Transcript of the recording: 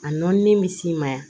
A nɔni bɛ s'i ma yan